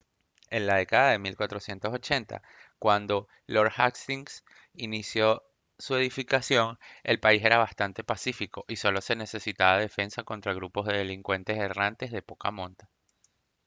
en la década de 1480 cuando lord hastings inició su edificación el país era bastante pacífico y solo se necesitaba defensa contra grupos de delincuentes errantes de poca monta